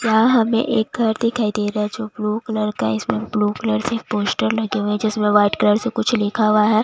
यहाँ हमें एक घर दिखाई दे रहा है जो ब्लू कलर का है जिसमें ब्लू कलर के पोस्टर लगे हुए है जिसमें वाइट कलर से कुछ लिखा हुआ है।